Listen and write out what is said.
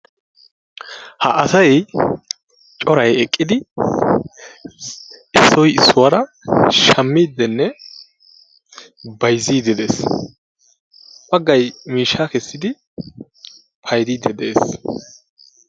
ha asay coray eqqidi issoy issuwara shamiidinne bayziidi de'ees, bagay miishshaa kessidi bayziidi de'ees,